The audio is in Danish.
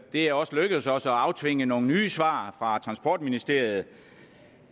det er også lykkedes os at aftvinge nogle nye svar fra transportministeriet